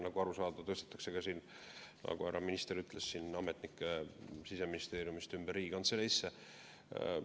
Nagu aru on saada, tõstetakse, nagu härra minister ütles, ametnikke Siseministeeriumist Riigikantseleisse ümber.